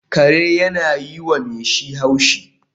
Kare yana yi wa mai shi haushi